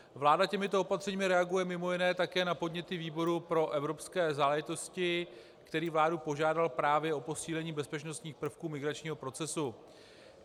Vláda těmito opatřeními reaguje mimo jiné také na podněty výboru pro evropské záležitosti, který vládu požádal právě o posílení bezpečnostních prvků migračního procesu.